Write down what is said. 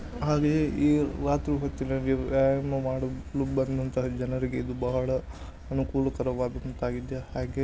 ಹಾಗೆ ವ್ಯಾಯಾಮ ಮಾಡಲು ಬಂದಂತಹ ಜನರಿಗೆ ಬಹಳ ಅನುಕೂಲಕರವಾಗಿದೆ ಹಾಗೆ --